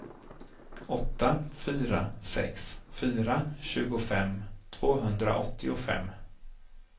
åtta fyra sex fyra tjugofem tvåhundraåttiofem